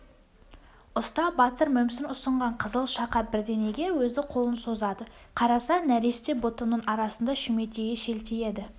ұста батыр мүмсін ұсынған қызыл шақа бірдеңеге өзі қолын созады қараса нәресте бұтының арасында шүметейі шелтиеді